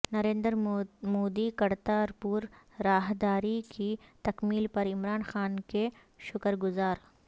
نریندر مودی کرتارپور راہداری کی تکمیل پر عمران خان کے شکرگزار